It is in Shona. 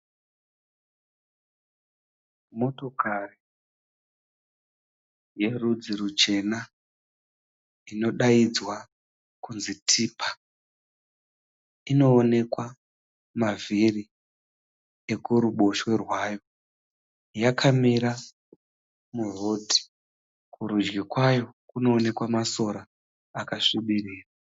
Motokari yerudzi ruchena inodaidzwa kunzi tipa, inoonekwa mavhiri ekuruboshwe rwayo, yakamira muroad. Kurudyi kwayo kunoonekwa masora akasvibirira.